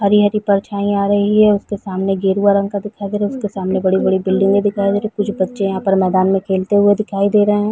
हरी-हरी परछाई आ रही है उसके सामने गेरुवा रंग का दिखाई दे रहा है उसके सामने बड़ी-बड़ी बिल्डिंगे दिखाई रही कुछ बच्चे यहाँ पे मैदान में खेलते हुए दिखाई दे है।